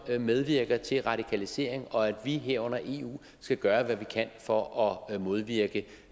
medvirker til radikalisering og at vi herunder eu skal gøre hvad vi kan for at modvirke